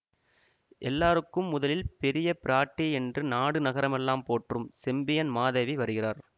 எல்லாருக்கும் முதலில் பெரிய பிராட்டி என்று நாடு நகரமெல்லாம் போற்றும் செம்பியன் மாதேவி வருகிறார்